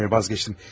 Xeyr, vazgeçdim.